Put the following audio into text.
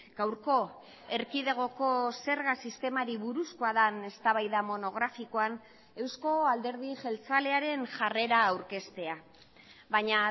gaurko erkidegoko zerga sistemari buruzkoa den eztabaida monografikoan euzko alderdi jeltzalearen jarrera aurkeztea baina